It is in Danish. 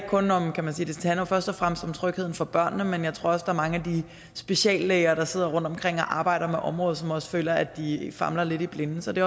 først og fremmest om trygheden for børnene men jeg tror også er mange af de speciallæger der sidder rundtomkring og arbejder med området som også føler at de famler lidt i blinde så det